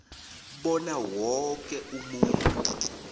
bona woke umuntu